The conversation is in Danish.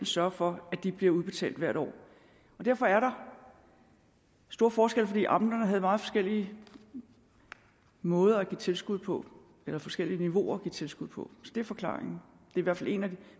sørge for at de bliver udbetalt hvert år derfor er der stor forskel fordi amterne havde meget forskellige måder at give tilskud på eller forskellige niveauer at give tilskud på så det er forklaringen i hvert fald en af de